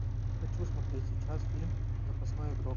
хочу смотреть сейчас фильм запасной игрок